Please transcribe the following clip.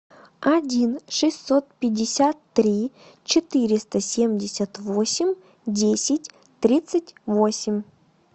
один шестьсот пятьдесят три четыреста семьдесят восемь десять тридцать восемь